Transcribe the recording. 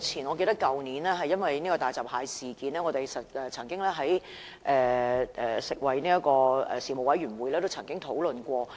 我記得在去年發生大閘蟹事件後，大家亦曾在食物安全及環境衞生事務委員會進行相關的討論。